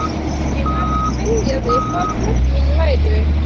Ég var að spyrja þig hvar fötin mín væru?